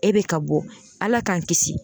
E bɛ ka bɔ Ala k'an kisi